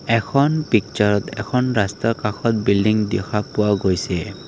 এখন পিকচাৰত এখন ৰাস্তাৰ কাষত বিল্ডিং দেখা পোৱা গৈছে।